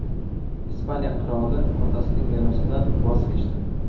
Ispaniya qiroli otasining merosidan voz kechdi.